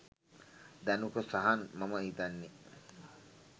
ධනුක සහන් මම හිතන්නේ